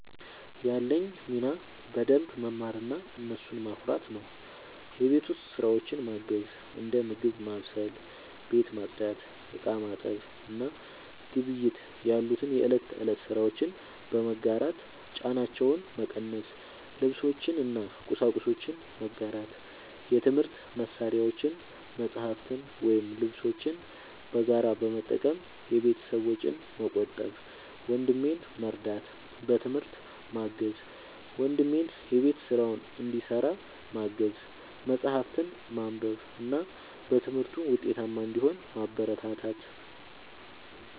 ያለኝ ሚና በደንብ መማርና እነሱን ማኩራት ነው። የቤት ውስጥ ስራዎችን ማገዝ፦ እንደ ምግብ ማብሰል፣ ቤት ማጽዳት፣ ዕቃ ማጠብ እና ግብይት ያሉ የእለት ተእለት ስራዎችን በመጋራት ጫናቸውን መቀነስ። ልብሶችን እና ቁሳቁሶችን መጋራት፦ የትምህርት መሳሪያዎችን፣ መጽሐፍትን ወይም ልብሶችን በጋራ በመጠቀም የቤተሰብን ወጪ መቆጠብ። ወንድሜን መርዳት፦ በትምህርት ማገዝ፦ ወንድሜን የቤት ስራውን እንዲሰራ ማገዝ፣ መጽሐፍትን ማንበብ እና በትምህርቱ ውጤታማ እንዲሆን ማበረታታት።